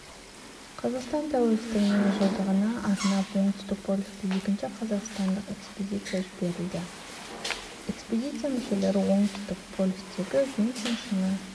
қазақстан тәуелсіздігінің жылдығына арнап оңтүстік полюске екінші қазақстандық экспедиция жіберіледі экспедиция мүшелері оңтүстік полюстегі винсон шыңын